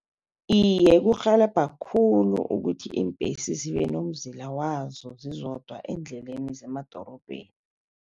Iye, kurhelebha khulu ukuthi iimbhesi zibe nomzila wazo zizodwa eendleleni zemadorobheni.